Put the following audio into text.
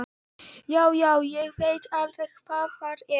Já, já, ég veit alveg hvar það er.